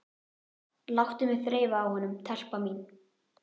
Láttu mig þreifa á honum, telpa mín.